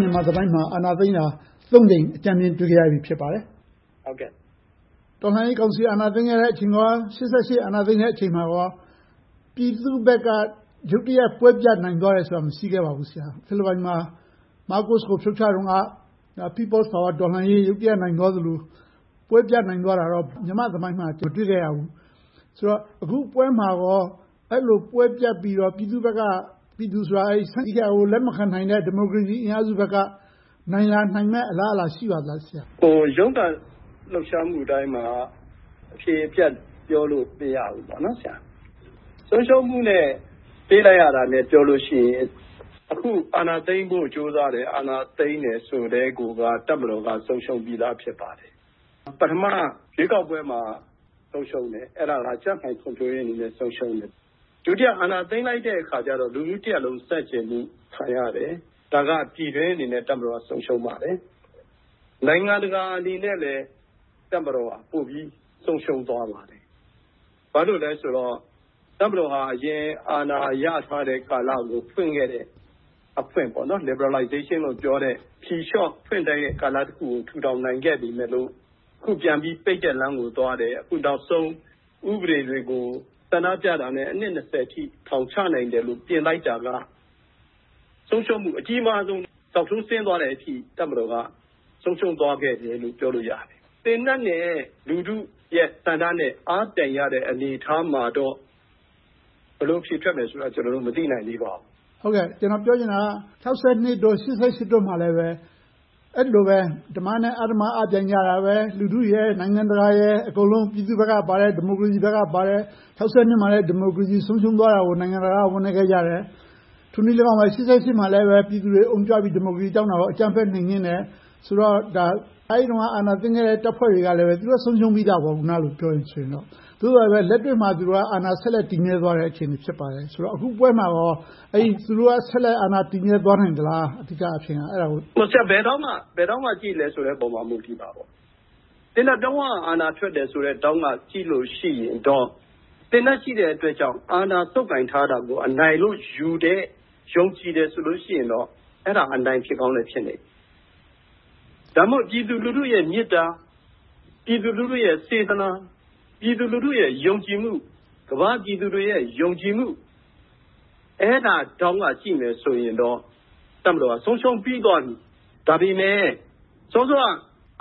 မြန်မာ့သမိုင်းမှာ အာဏာသိမ်းတာ ကြိမ် တွေ့ခဲ့ရပြီ ဖြစ်ပါတယ်။ တော်လှန်ရေးကောင်စီ အာဏာသိမ်းချိန်၊ ရှစ်ဆယ့်ရှစ် အာဏာသိမ်းချိန်တို့မှာ ပြည်သူ့ဘက်က ရုတ်တရက် ပွဲပြတ်နိုင်သွားတယ်ဆိုတာ မရှိခဲ့ပါဘူး။ ဖီလစ်ပိုင်မှာ မားကိုစ်ကို ဖြုတ်ချတုန်းက People’s Power တော်လှန်ရေး ရုတ်တရက် နိုင်သွားသလို၊ ပွဲပြတ်နိုင်သွားတာကို မြန်မာ့သမိုင်းမှာတော့ မကြုံတွေ့ခဲ့ရသေးဘူး။ ဆိုတော့ အခုပွဲမှာကော အဲဒီလိုပွဲပြတ်ပြီးတော့ ပြည်သူ့ဘက်က - ပြည်သူဆိုတာ အာဏာသိမ်းတာကို လက်မခံနိုင်တဲ့ ဒီမိုကရေစီအင်အားစုဘက်က နိုင်လာမယ့်အလားအလာ ရှိပါသလား ဆရာ။ ရုန်းကန်လှုပ်ရှားမှုတိုင်းမှာ အဖြေအပြတ် ပြောလို့မရဘူးပေါ့ ဆရာ။ ဆုံးရှုံးမှုနဲ့ ပေးလိုက်ရတာနဲ့ ပြောလို့ရှိရင် အခုအာဏာသိမ်းမှု ကြိုးစားတယ်၊ အာဏာသိမ်းတယ်ဆိုကတည်းက တပ်မတော်က ဖြစ်ပါတယ်။ ပထမ ရွေးကောက်ပွဲမှာ ဆုံးရှုံးတယ်။ အဲဒါ ကြံ့ခိုင်ဖွံ့ဖြိုးရေးအနေနဲ့ ဆုံးရှုံးတယ်။ ဒုတိယ အာဏာသိမ်းလိုက်တဲ့အခါကြတော့ လူထုတရပ်လုံး ဆန့်ကျင်မှုကို ခံရတယ်။ ဒါက ပြည်တွင်းအနေနဲ့ တပ်မတော်က ဆုံးရှုံးပါတယ်။ နိုင်ငံတကာအနေနဲ့လည်း တပ်မတော်က ပိုပြီးတော့ ဆုံးရှုံးသွားပါတယ်။ ဘာဖြစ်လို့လဲဆိုတော့ တပ်မတော်က အရင်အာဏာရကာလကို ဖွင့်ခဲ့တဲ့အဖွင့် liberalization လို့ ပြောတဲ့ ဖြေလျှော့ဖွင့်ပေးတဲ့ ကာလတခုကို ထူထောင်နိုင်ခဲ့ပေမယ့် အခုပြန်ပြီး ပိတ်တဲ့လမ်းကိုသွားတယ်။ အခုနောက်ဆုံး ဥပဒေတွေကို ဆန္ဒပြတာနဲ့ အနှစ် အထိ ထောင်ချနိုင်တယ်လို့ တင်လိုက်တာက ဆုံးရှုံးမှု အကြီးမားဆုံး ဇောက်ထိုးဆင်းသွားတဲ့အထိ တပ်မတော်က ဆုံးရှုံးသွားခဲ့တယ်လို့ ပြောလို့ရတယ်။ သေနတ်နဲ့ လူထုရဲ့ဆန္ဒ အားပြိုင်ရတဲ့ အနေအထားမှာတော့ ဘယ်လိုအဖြေထွက်မယ်ဆိုတာကို ကျနော်တို့ မသိနိုင်သေးပါဘူး။ ကျနော်ပြောချင်တာက ၆၂၊ ၈၈ တို့မှာလည်း အဲဒီလိုပဲ ဓမ္မနဲ့အဓမ္မ အားပြိုင်ကြတာတယ်။ လူထု၊ နိုင်ငံတကာတို့ အကုန်လုံး ပြည်သူ့ဘက်ကပါတယ်။ ၆၂ မှာလည်း ဒီမိုကရေစီ ဆုံးရှုံးသွားခဲ့တာကို နိုင်ငံတကာက ဝမ်းနည်းခဲ့ကြတယ်။ ထိုနည်းလည်းကောင်းပဲ ၈၈ မှာ ပြည်သူတွေအုံကြွပြီး ဒီမိုကရေစီတောင်းတာကို အကြမ်းဖက်နှိမ်နင်းတယ်ဆိုတော့ ဒါက အဲဒီတုန်းက အာဏာသိမ်းခဲ့တဲ့ တပ်ဖွဲ့တွေကလည်း သူတို့ဆုံးရှုံးပြီသားပေါ့။ အခုနလို့ ပြောမယ်ဆိုရင်ပေါ့။ သို့သော် လက်တွေ့မှာ သူတို့ အာဏာတည်မြဲသွားတဲ့ အခြေအနေ ဖြစ်ပါတယ်။ အခုပွဲမှာကော သူတို့က ဆက်လက်အာဏာတည်မြဲ သွားနိုင်သလား။ အဓိကအားဖြင့်ပေါ့။ ဘယ်ထောင့်က ကြည့်သလဲပေါ်မှာ မူတည်တာပေါ့။ သေနတ်ပြောင်းက အာဏာထွက်တယ်ဆိုတဲ့ ထောင့်ကကြည့်မယ်ဆိုရင်တော့ သေနတ်ရှိတဲ့ အတွက်ကြောင့် အာဏာဆုပ်ကိုင်ထားတာကို အနိုင်လို့ယူတဲ့ ယုံကြည်တယ်ဆိုရင်တော့ အဲဒါအနိုင်ဖြစ်ကောင်းလည်း ဖြစ်လိမ့်မယ်။ ဒါမှမဟုတ် ပြည်သူလူထုရဲ့ မေတ္တာ၊ ပြည်သူလူထုရဲ့ စေတနာ၊ ပြည်သူလူထုရဲ့ ယုံကြည်မှု၊ ကမ္ဘာ့ပြည်သူတွေရဲ့ ယုံကြည်မှု အဲဒီလိုထောင့်ကကြည့်မယ်ဆိုရင်တော့ တပ်မတော်က ဆုံးရှုံးပြီးသွားပြီ။ ဒါပေမဲ့ စောစောက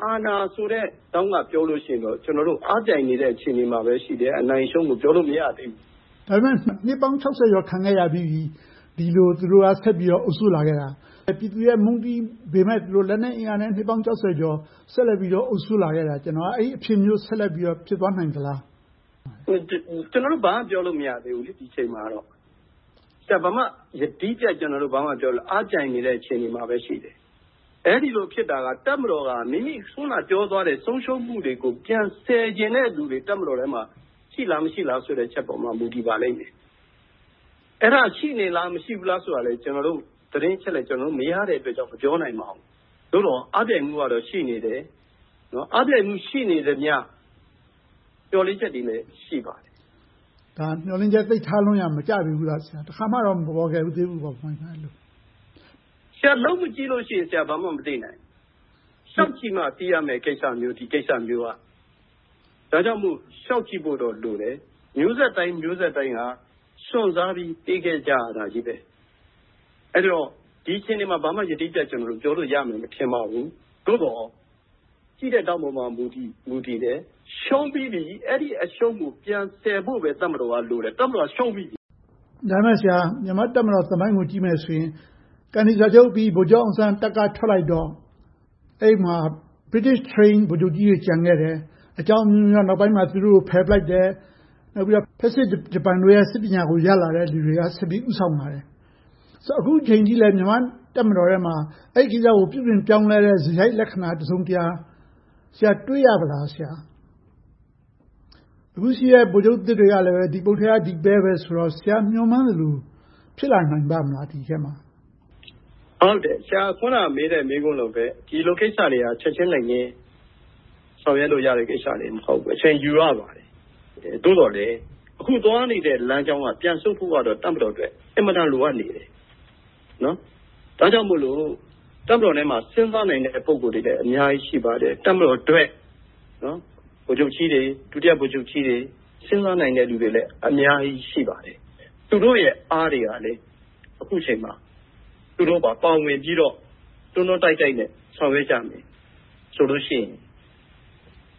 အာဏာဆိုတဲ့ ထောင့်ကပြောမယ်ဆိုရင်တော့ ကျနော်တို့ အားပြိုင်နေတဲ့ အခြေအနေမှာပဲ ရှိတယ်။ အနိုင်အရှုံးကို ပြောလို့မရသေးဘူး။ ဒါပေမဲ့ နှစ်ပေါင်း ကျော် ခံခဲ့ရပြီးပြီ။ ဒီလို သူတို့ အုပ်စိုးလာခဲ့တာ။ ပြည်သူတွေက မုန်းတီးပေမယ့် လက်နက်အင်အားနဲ့ နှစ်ပေါင်း ကျော် ဆက်လက်ပြီးတော့ အုပ်စိုးလာခဲ့တာ ကျနော် သိချင်တာက အဲဒီလို အဖြစ်မျိုး ဆက်လက်ဖြစ်သွားနိုင်သလား။ ကျနော်တို့ ဒီအချိန်မှာ ဘာမှပြောလို့မရနိုင်သေးဘူး။ ကျနော်တို့ ယတိပြတ် ဘာမှပြောလို့မရသေးဘူး။ အားပြိုင်နေတဲ့ အခြေအနေမှာပဲ ရှိသေးတယ်။ အဲဒီလိုဖြစ်တာ တပ်မတော်က မိမိအနေနဲ့ အခုနပြောသွားတဲ့ ဆုံးရှုံးမှုတွေကို ပြန်ဆယ်ချင်တဲ့လူတွေ တပ်မတော်ထဲမှာ ရှိလား၊ မရှိလားဆိုတဲ့ အချက်ပေါ်မှာ မူတည်ပါလိမ့်မယ်။ အဲဒါ ရှိနေလား၊ မရှိဘူးလားဆိုတာလဲ ကျနော်တို့ သတင်းအချက်အလက် မရတဲ့အတွက်ကြောင့် မပြောနိုင်ပါဘူး။ သို့သော် အားပြိုင်မှုကတော့ ရှိနေတယ်။ အားပြိုင်မှု ရှိနေသမျှ၊ မျှော်လင့်ချက်တွေလည်း ရှိပါတယ်။ ဒါက မျှော်လင့်ချက် သိပ်ထားလွန်ရာ မကျပေဘူးလား။ အဲဒီလို တခါမှတော့ မပေါ်ပေါက်သေးဘူးပေါ့။ လုပ်မကြည့်လို့ရှိရင် ဘာမှမသိနိုင်ဘူး။ လျှောက်ကြည့်မှ သိရမယ့်ကိစ္စမျိုးအထိ ဒီကိစ္စမျိုးက။ ဒါကြောင့်မို့ လျှောက်ကြည့်ဖို့တော့ လိုတယ်။ မျိုးဆက်တိုင်း မျိုးဆက်တိုင်းက စွန့်စားပြီး ပေးခဲ့ကြရတယ်။ အဲဒီတော့ ဒီအခြေအနေမှာ ဘာမှယတိပြတ် ကျနော်တို့ ပြောလို့ရမယ် မထင်ပါဘူး။ သို့သော် ကြည့်တဲ့ထောင့်ပေါ် မူတည်တယ်။ ရှုံးပြီးပြီ။ အဲဒီအရှုံးကို ပြန်ဆယ်ဖို့ပဲ တပ်မတော်က လိုတယ်။ တပ်မတော်က ရှုံးပြီးပြီ။ ဒါပေမဲ့ မြန်မာ့တပ်မတော် သမိုင်းကို ကြည့်မယ်ဆိုရင် ကန်ဒီစာချုပ်အပြီး ဗိုလ်ချုပ်အောင်ဆန်းက တပ်ကထွက်လိုက်ပြီးတော့ အဲဒီမှာ British trained ဗိုလ်ချုပ်ကြီးတွေ ကျန်ခဲ့တယ်။ အကြောင်းအမျိုးမျိုးကြောင့် နောက်ပိုင်းမှာ သူတို့ကို ဖယ်ပစ်လိုက်တယ်။ နောက်ပြီးတော့ ဖက်ဆစ်ဂျပန်တွေရဲ့ စစ်ပညာကို ရလာတဲ့လူတွေက ဆက်ပြီးတော့ ဦးဆောင်လာတယ်။ ဆိုတော့ အခုအချိန်အထိလည်း မြန်မာ့တပ်မတော်ထဲမှာ အဲဒီကိစ္စကို ပြုပြင်ပြောင်းလဲတဲ့ စရိုက်လက္ခဏာ တစုံတရာ တွေ့ရပြီလား။ အခုရှိတဲ့ ဗိုလ်ချုပ်အသစ်တွေကလည်း ဒီပုတ်ထဲက ဒီပဲဆိုတော့ ဆရာ မျှော်မှန်းသလို ဖြစ်လာနိုင်ပါ့မလား။ ဆရာမေးတဲ့ မေးခွန်းလိုပဲ ဒီလိုကိစ္စတွေက ချက်ချင်းလက်ငင်း ဆောင်ရွက်လို့ရတဲ့ ကိစ္စတွေ မဟုတ်ဘဲ၊ အချိန်ယူရပါတယ်။ သို့သော်လဲ အခုသွားနေတဲ့ လမ်းကြောင်းက ပြန်ဆုတ်ဖို့အတွက် တပ်မတော်အတွက် အင်မတန် လိုအပ်နေတယ်။ ဒါကြောင့်မို့ တပ်မတော်ထဲမှာ စဉ်းစားနိုင်တဲ့ ပုဂ္ဂိုလ်တွေလည်း အများကြီးရှိပါတယ်။ တပ်မတော်အတွက် ဗိုလ်ချုပ်ကြီးတွေ၊ ဒုတိယဗိုလ်ချုပ်ကြီးတွေ၊ စဉ်းစားနိုင်တဲ့ လူတွေလည်း အများကြီး ရှိပါတယ်။ သူတို့တွေရဲ့ အားတွေကလည်း အခုအချိန်မှာ သူတို့ပါ ပါဝင်ပြီးတော့ တွန်းတွန်းတိုက်တိုက်နဲ့ ဆောင်ရွက်ကြမယ်ဆိုလို့ရှိရင်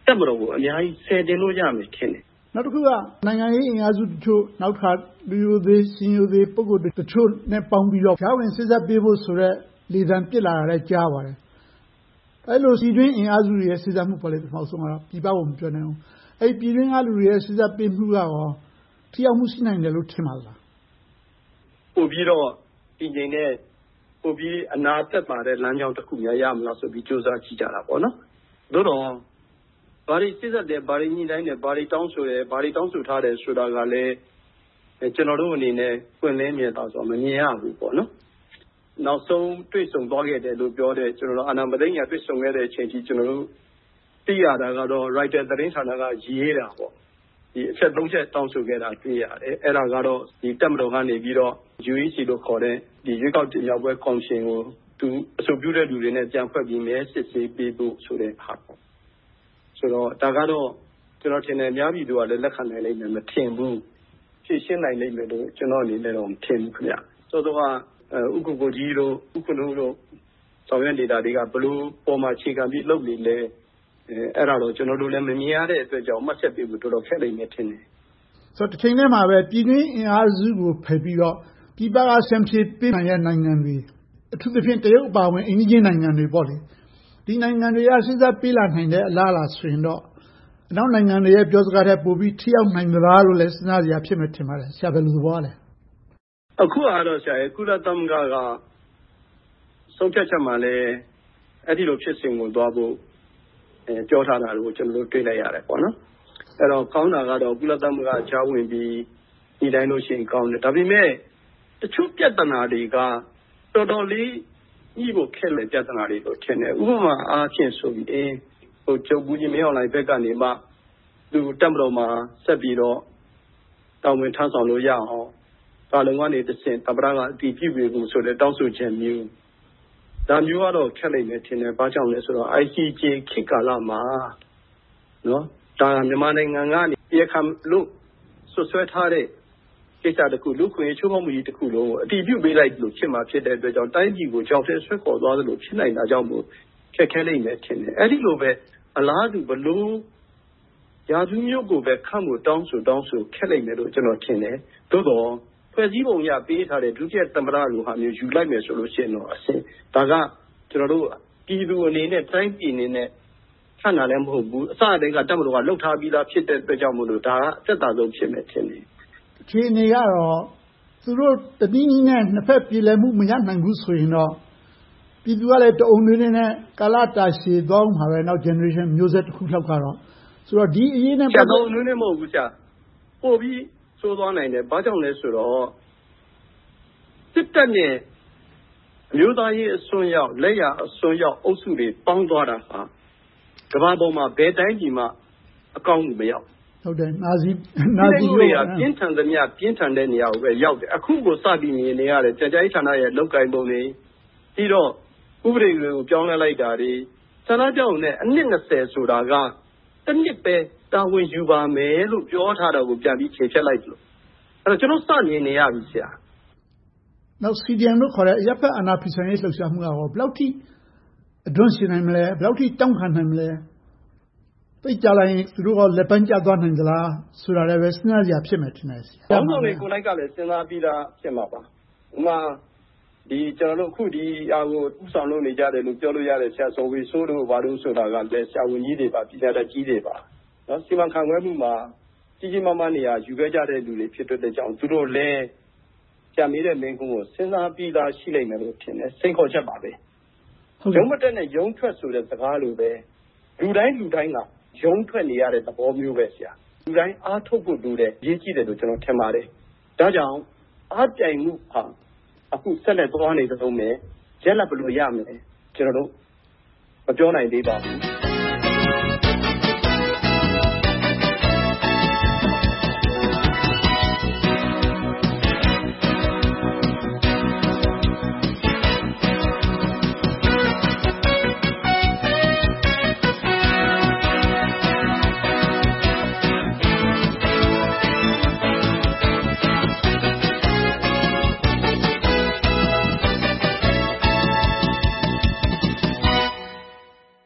တပ်မတော်ကို အများကြီးဆယ်တင်လို့ရမယ်လို့ ထင်တယ်။ နောက်တခုက နိုင်ငံရေးအင်အားစုတချို့၊ နောက်တခါ လူရိုသေ၊ ရှင်ရိုသေ ပုဂ္ဂိုလ်တွေတချို့နဲ့ပေါင်းပြီးတော့ ကြားဝင်စေ့စပ်ပေးဖို့ လေသံပစ်လာတာလည်း ကြားရပါတယ်။ အဲဒီလို ပြည်တွင်းအင်အားစုတွေရဲ့ စေ့စပ်မှုပေါ့ ပထမဦးဆုံးက။ ပြည်ပကို မပြောနဲ့အုံး။ အဲဒီပြည်တွင်းကလူတွေရဲ့ စေ့စပ်ပေးမှုက ထိရောက်မှု ရှိမယ်လို့ ထင်နိုင်ပါသလား။ ပိုပြီးတော့ တည်ငြိမ်တယ်၊ ပိုပြီးတော့ အနာသက်သာတဲ့ လမ်းကြောင်းတခုများ ရမလားဆိုပြီး ကြိုးစားကြည့်ကြတာပေါ့။ သို့သော် ဘာတွေစေ့စပ်တယ်၊ ဘာတွေညှိနှိုင်းတယ်၊ ဘာတွေတောင်းဆိုတယ်၊ ဘာတွေတောင်းဆိုထားတယ်ဆိုတာကလဲ ကျနော်တို့အနေနဲ့ ပွင့်လင်းမြင်သာစွာ မမြင်ရဘူး။ နောက်ဆုံး တွေ့ဆုံသွားခဲ့တယ်လို့ ပြောတဲ့၊ အာဏာမသိမ်းခင်က တွေ့ဆုံတဲ့အချိန်အထိ သိရတာက Reuters သတင်းဌာနကရေးတာ အချက် ချက် တောင်းဆိုခဲ့တာ တွေ့ရတယ်။ အဲဒါကတော့ တပ်မတော်ကနေ UEC လို့ခေါ်တဲ့ ရွေးကောက်တင်မြှောက်ရေးကော်မရှင်ကို သူအဆိုပြုတဲ့လူတွေလည်း ပြန်ဖွဲ့ဖို့နဲ့ မဲစစ်ဆေးပေးဖို့ ဆိုတာတွေပေါ့။ ဒါကတော့ ကျနော်ထင်တယ် အများပြည်သူတွေကလည်း လက်ခံမယ် မထင်ဘူး။ ဖြေရှင်းနိုင်လိမ့်မယ်လို့ ကျနော်အနေနဲ့ မထင်ဘူး။ စောစောက ဦးကိုကိုကြီး၊ ဦးခွန်ထွန်းဦးတို့ ဆောင်ရွက်နေတာတွေက ဘယ်လိုပေါ်မှာ အခြေခံပြီး လုပ်နေသလဲ။ အဲဒါတွေကို ကျနော်တို့လည်း မမြင်ရတဲ့အတွက်ကြောင့် မှတ်ချက်တွေပေးဖို့ တော်တော်ခက်လိမ့်မယ် ထင်တယ်။ တချိန်တည်းမှာပဲ ပြည်တွင်အင်အားစုကို ဖယ်ပြီးတော့ ပြည်ပက ဖြန်းဖြေပေးနိုင်တဲ့ နိုင်ငံတွေ အထူးသဖြင့် တရုတ်အပါအဝင် အိမ်နီးချင်းနိုင်ငံတွေပေါ့။ ဒီနိုင်ငံတွေက စေ့စပ်ပေးလာနိုင်တဲ့ အလားအလာ ဆိုရင်တော့ အနောက်နိုင်ငံတွေ ပြောစကားထက် ပိုပြီးတော့ ထိရောက်နိုင်သလားလို့ စဉ်းစားစရာ ဖြစ်မယ်လို့ ထင်ပါတယ်။ ဆရာ ဘယ်လိုသဘောရသလဲ။ အခုဟာက ကုလသမဂ္ဂက ဆုံးဖြတ်ချက်မှာလည်း အဲဒီလို ဖြစ်စဉ်ကိုသွားဖို့ ပြောထားတာကို ကျနော်တို့ တွေ့လိုက်ရတယ်။ ကောင်းတာကတော့ ကုလသမဂ္ဂက ကြားဝင်ပြီး၊ ညှိနှိုင်းလို့ရှိရင်တော့ ကောင်းတယ်။ ဒါပေမဲ့ တချို့ပြဿနာတွေက တော်တော်လေးညှိဖို့ခက်မယ့် ပြဿနာတွေလို့ ထင်တယ်။ ဥပမာအားဖြင့် ဗိုလ်ချုပ်မှူးကြီးမင်အောင်လှိုင်ဘက်က သူ တပ်မတော်မှာ ဆက်ပြီးတော့ တာဝန်ထမ်းဆောင်လို့ရအောင် ကာလုံကတဆင့်၊ သမ္မတက အတည်ပြုပေးဖို့ဆိုတဲ့ တောင်းဆိုချက်မျိုး။ ဒါမျိုးကတော့ ခက်လိမ့်မယ်ထင်တယ်။ ဘာကြောင့်လဲဆိုတော့ ICJ ခေတ်ကာလမှာ ဒါက မြန်မာနိုင်ငံကနေ တရားခံလို့ စွပ်စွဲထားတဲ့ ကိစ္စတခု။ လူ့အခွင့်အရေး ချိုးဖောက်မှုကြီးတခုလုံးကို အတည်ပြုပေးလိုက်သလို ဖြစ်မှာဖြစ်တဲ့အတွက်ကြောင့်၊ တိုင်းပြည်ကို ချောက်ထဲဆွဲခေါ်သွားသလို ဖြစ်နိုင်တာကြောင့်၊ ခက်ခဲလိမ့်မယ်ထင်တယ်။ အဲဒီလိုပဲ အလားတူ ဘယ်လို ရာထူးမျိုးကိုပဲ ခန့်ဖို့ တောင်းဆိုတောင်းဆို ခက်လိမ့်မယ်လို့ ကျနော်ထင်တယ်။ သို့သော် ဖွဲ့စည်းပုံအရ ပေးထားတဲ့ ဒုတိယသမ္မတလိုမျိုး ယူလိုက်မယ်ဆိုရင်တော့ ဒါက ကျနော်တို့ ပြည်သူအနေနဲ့၊ တိုင်းပြည်အနေနဲ့ ခန့်တာလည်း မဟုတ်ဘူး။ အစကတည်းက တပ်မတော်က လုပ်ထားပြီးသာ ဖြစ်တဲ့အတွက်ကြောင့် ဒါက အသက်သာဆုံး ဖြစ်မယ်ထင်တယ်။ အခြေအနေကတော့ သူတို့တနည်းနည်းနဲ့ နှစ်ဘက်ပြေလည်မှု မရနိုင်ဘူး ဆိုရင်တော့ ပြည်သူကလည်း တအုံနွေးနွေးနဲ့ ကာလတာရှည်သွားအုံးမှာပဲ။ နောက်မျိုးဆက် Generation တွေ မျိုးဆက်တခုလောက်ကတော့။ တအုံနွေးနွေးတော့ မဟုတ်ဘူး။ ပိုပြီးတော့ ဆိုးသွားနိုင်တယ်။ ဘာကြောင့်လဲဆိုတော့ စစ်တပ်နဲ့ အမျိုးသားရေးအစွန်းရောက်၊ လက်ယျာအစွန်းရောက် အုပ်စုတွေပေါင်းသွားတာဟာ ကမ္ဘာပြည်မှာ ဘယ်တိုင်းပြည်မှ အကောင်းဘက်ကို မရောက်ဘူး။ ဖိနှိပ်မှုတွေက ပြင်းထန်သမျှ ပြင်းထန်တဲ့နေရာကိုပဲ ရောက်တယ်။ အခုကိုပဲ စပြီးမြင်နေရတယ်။ ပြန်ကြားရေးဌာနရဲ့ လုပ်ကိုင်ပုံတွေ၊ ပြီးတော့ ဥပဒေတွေကို ပြောင်းလဲလိုက်တာတွေ။ ဆန္ဒပြရုံနဲ့ နှစ် ဆိုတာက တနှစ်ပဲ တာဝန်ယူပါမယ်ဆိုတာကို ပြောထားတာကို ပြန်ပြီးချေဖျက်လိုက်သလို။ ကျနော်တို့ စမြင်နေရပြီ။ နောက် CDM လို့ခေါ်တဲ့ အရပ်ဘက် အာဏာဖီဆန်ရေး လှုပ်ရှားမှုကရော ဘယ်လောက်ထိ အဓွန့်ရှည်နိုင်မလဲ။ ဘယ်လောက်အထိ တောင့်ခံနိုင်မလဲ။ သိပ်ကြာလာရင် သူတို့ကော လက်ပန်းကျသွားနိုင်သလား ဆိုတာလဲ စဉ်းစားစရာ ဖြစ်မယ်ထင်တယ်။ ခေါင်းဆောင်တွေကိုယ်တိုင်ကလည်း စဉ်းစားပြီးသား ဖြစ်မှာပါ။ ဥပမာ အခု ဒီဟာကို ဦးဆောင်လုပ်နေကြတဲ့ ဆရာဇော်ဝေစိုးတို့ကလည်း ဆရာဝန်ကြီးတွေပါ။ ပညာတတ်ကြီးတွေပါ။ စီမံခန့်ခွဲမှုမှာ ကြီးကြီးမားမား နေရာယူခဲ့ကြတဲ့ လူတွေဖြစ်တဲ့အတွက်ကြောင့် သူတို့လည်း ဆရာမေးတဲ့မေးခွန်းကို စဉ်းစားပြီးသား ရှိလိမ့်မယ်လို့ထင်တယ်။ စိန်ခေါ်ချက်ပါပဲ။ ရုံးမတက်နဲ့ ရုန်းထွက်ဆိုတဲ့ စကားလိုပဲ လူတိုင်းလူတိုင်းက ရုန်းထွက်နေရတဲ့သဘောမျိုးပဲ။ လူတိုင်း အားထုတ်ဖို့လိုတယ်။ အရေးကြီးတယ်လို့ ကျနော် ထင်ပါတယ်။ ဒါကြောင့် အားပြိုင်မှုဟာ အခုဆက်လျှက်သွားနေတုန်းပဲ။ ရလဒ် ဘယ်လိုရမလဲဆိုတာကို ကျနော်တို့ မပြောနိုင်သေးပါဘူး။